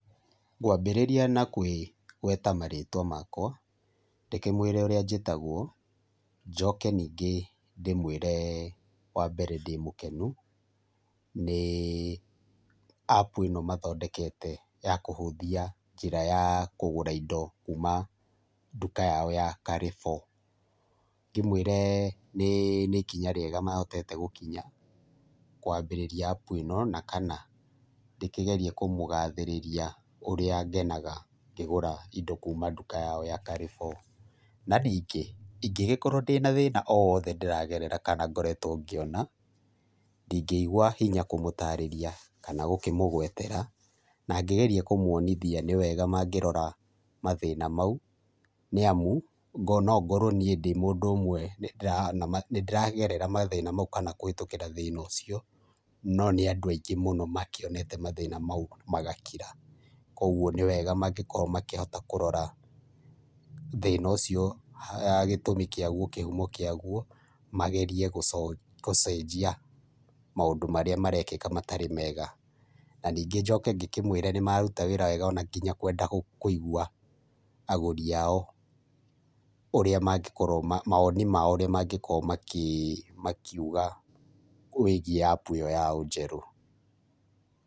Ngwambĩrĩria na kwĩgweta marĩtwa makwa, ndĩkĩmwĩre ũrĩa njĩtagwo, njoke ningĩ ndĩmwĩre mbere ndĩmũkenu nĩ apu ĩno mathondekete ya kũhũthia njĩra ya kũgũra indo kuma nduka yao ya Carrefour. Ngĩmwĩre nĩ nĩ ikinya rĩega mahotete gũkinya kwambĩrĩria apu ĩno, na kana ndĩkĩgerie kũmũgathĩrĩria ũrĩa ngenaga ngĩgũra indo kuma nduka yao ya Carrefour. Na ningĩ, ingĩgĩkorwo ndĩna thĩna o wothe ndĩragerera kana ngoretwo ngĩona, ndingĩigua hinya kũmũtarĩria kana gũkĩmũgwetera na ngĩgerie kũmuonithia nĩ wega mangĩrora mathĩna mau, nĩamu, no ngorwo niĩ ndĩ mũndũ ũmwe nĩndĩrona ma nĩndĩragerera mathĩna mau kana kũhĩtũkĩra thĩna ũcio, no nĩ andũ aingĩ mũno makĩonete mathĩna mau magakira, kuoguo nĩwega mangĩkorwo makĩhota kũrora thĩna ũcio gĩtũmi kĩaguo kĩhuma kĩaguo, magerie gũcenjia mũndũ marĩa marekĩka matarĩ mega. Na ningĩ njoke ngĩkĩmwĩre nĩmaruta wĩra wega na kinya kwenda kũigua, agũri ao ũrĩa magĩkorwo mawoni mao ũrĩa mangĩkorwo makiuga wĩgiĩ apu ĩyo yao njerũ.